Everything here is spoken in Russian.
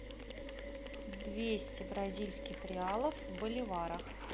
двести бразильских реалов в боливарах